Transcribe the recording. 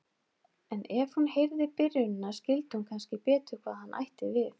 En ef hún heyrði byrjunina skildi hún kannski betur hvað hann ætti við.